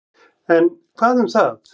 En, hvað um það.